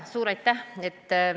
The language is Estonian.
Suur aitäh!